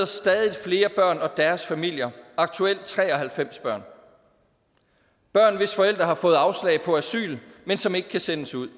stadig flere børn og deres familier aktuelt tre og halvfems børn børn hvis forældre har fået afslag på asyl men som ikke kan sendes ud